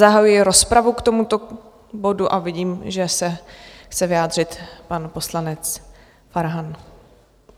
Zahajuji rozpravu k tomuto bodu a vidím, že se chce vyjádřit pan poslanec Farhan.